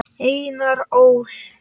Einar Ól.